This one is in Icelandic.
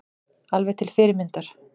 Alveg til fyrirmyndar